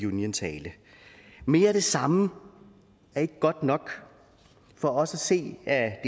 union tale mere af det samme er ikke godt nok for os at se er